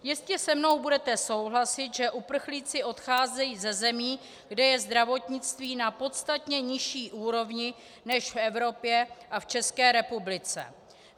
Jistě se mnou budete souhlasit, že uprchlíci odcházejí ze zemí, kde je zdravotnictví na podstatně nižší úrovni než v Evropě a v České republice.